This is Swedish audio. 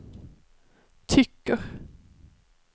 tycker